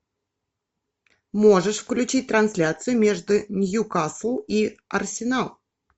можешь включить трансляцию между ньюкасл и арсенал